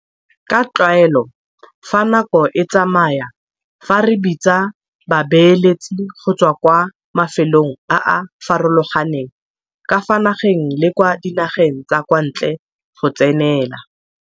Ka tlwaelo fa nako e tsamaya fa re bitsa babeeletsi go tswa kwa mafelong a a farologaneng ka fa nageng le kwa dinageng tsa kwa ntle go tsenela.